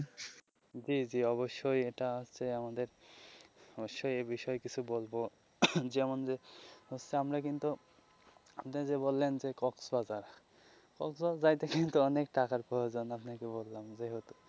জী জী অবশ্যই এটা হচ্ছে আমাদের অবশ্যই এ বিষয়ে কিছু বলবো যেমন যে হচ্ছে আমরা কিন্তু আপনি যে বললেন যে কক্সবাজার কক্সবাজার যাইতে কিন্তু অনেক টাকার প্রয়োজন আপনাকে বললাম যেহেতু.